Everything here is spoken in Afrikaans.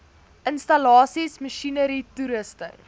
installasies masjinerie toerusting